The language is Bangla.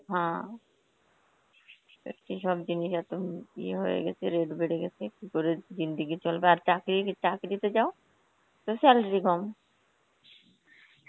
হম সত্যি সব জিনিস এত উম ইয়ে হয়ে গেছে, rate বেড়ে গেছে, কি করে Hindi চলবা আর চাকরির~ চাকরিতে যাও, তো salary কম.